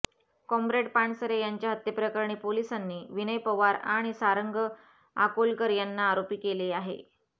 comrade Pansare यांच्या हत्येप्रकरणी पोलिसांनी विनय पवार आणि सारंग आकोलकर यांना आरोपी केले आहे